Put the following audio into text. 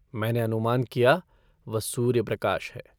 मैंने अनुमान किया, वह सूर्यप्रकाश है।